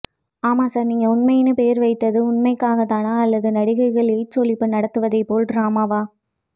ஆமாசார் நீங்க உண்மையின்னு பேர் வைத்தது உண்மைக்காகத்தானா அல்லது நடிகைகள் எயிட்ஸ் ஒழிப்பு நடத்துவதைப்போல் ட்ராமாவா